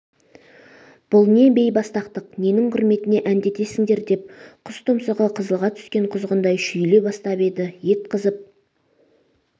бұл не бейбастақтық ненің құрметіне әндетесіңдер деп құс тұмсығы қызылға түскен құзғындай шүйіле бастап еді ет қызып